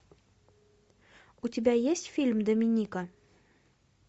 у тебя есть фильм доминика